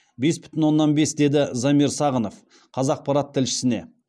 бес бүтін оннан бес деді замир сағынов қазақпарат тілшісіне